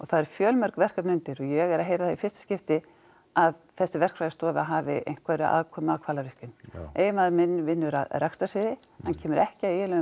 það eru fjölmörg verkefni undir og ég er að heyra það í fyrsta skipti að þessi verkfræðistofa hafi einhverja aðkomu að Hvalárvirkjun eiginmaður minn vinnur á rekstrarsviði hann kemur ekki að eiginlegum